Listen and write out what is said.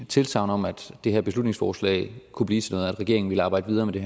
tilsagn om at det her beslutningsforslag kunne blive til regeringen ville arbejde videre med det